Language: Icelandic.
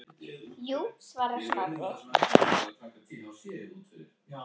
Jú svarar Snorri.